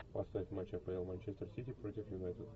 поставь матч апл манчестер сити против юнайтед